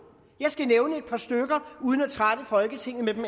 jeg skal nævne et par stykker uden at trætte folketinget med dem